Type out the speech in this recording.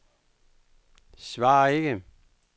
svar ikke